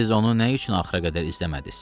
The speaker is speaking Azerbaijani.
Siz onu nə üçün axıra qədər izləmədiz?